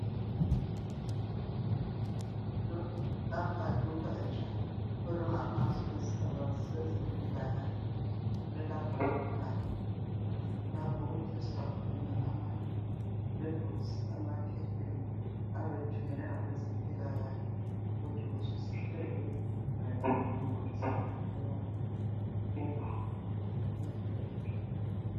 lapha lugatsha olungaphansi kwesigaba sezempilakahle kuse laboratory lapha oku tester khona ama samples ama abe ethunyelwe ngabezempilakahle ukuthi kuzwisiseke mayelana lemikhuhlane ayabe elayo